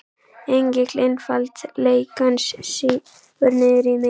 Engill einfaldleikans stígur niður í mig.